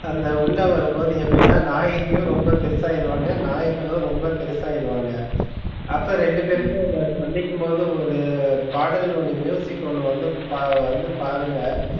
அந்த உள்ள வரும்போது எப்டினா நாயகியும் ரொம்ப பெருசா ஆகிடுவாங்க நாயகனும் ரொம்ப பெருசா ஆகிடுவாங்க. அப்ப ரெண்டு பேருக்கும் வந்து சந்திக்கும் போது ஒரு பாடல் ஒன்று ஒன்னு வந்து பார் பாருங்க.